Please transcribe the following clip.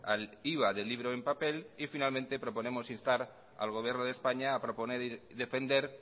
al iva del libro en papel y finalmente proponemos instar al gobierno de españa a proponer y defender